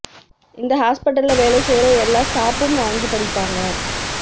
இந்த ஹாஸ்பிடல்ல வேலை செய்யற எல்லா ஸ்டாஃப்பும் வாங்கிப் படிப்பாங்க